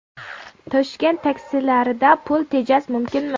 Toshkent taksilarida pul tejash mumkinmi?.